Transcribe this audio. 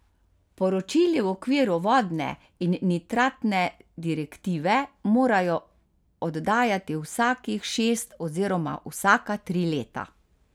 Poročili v okviru vodne in nitratne direktive morajo oddajati vsakih šest oziroma vsaka tri leta.